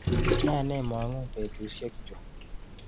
Ne nemang'u eng betushekchu.